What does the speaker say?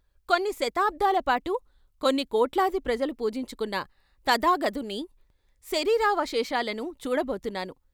కొన్ని శతాబ్దాల పాటు కొన్ని కోట్లాది ప్రజలు పూజించుకున్న తధాగతుని శరీరావశేషాలను చూడబోతున్నాను.